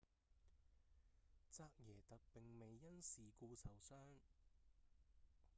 扎耶特並未因事故受傷